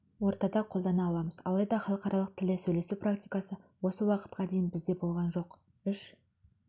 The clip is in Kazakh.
ортада қолдана аламыз алайда халықаралық тілде сөйлесу практикасы осы уақытқа дейін бізде болған жоқ үш